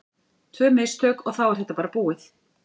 Tvö mistök og þá er þetta bara búið.